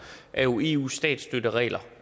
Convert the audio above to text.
er jo eus statsstøtteregler